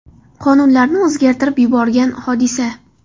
Qonunlarni o‘zgartirib yuborgan hodisa.